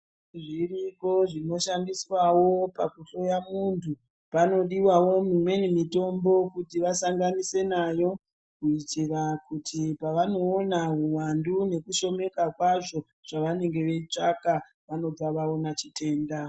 Zviripo zvinoshandiswavo pakuhloya muntu panodivavo mimweni mitombo kuti vasangane nayo munjira. Kuti pavanoona huvandu nekushomeka kwazvo pavanenge veitsvaka vanobva vaona chitenda.